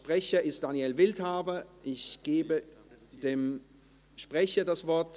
Sprecher ist Daniel Wildhaber, er hat das Wort.